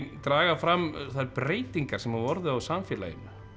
draga fram þær breytingar sem hafa orðið á samfélaginu